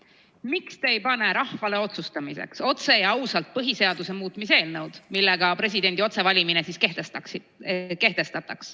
Miks te ei pane rahvale otsustamiseks otse ja ausalt põhiseaduse muutmise eelnõu, millega kehtestataks presidendi otsevalimine?